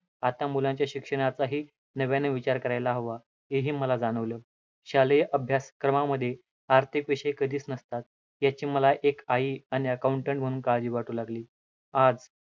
आता मुलांच्या शिक्षणाचाही नव्याने विचार करायला हवा, हे ही मला जाणवलं. शालेय अभ्यास क्रमामध्ये आर्थिक विषय कधीच नसतात, याची मला एक आई आणि accountant म्हणून काळजी वाटू लागली. आज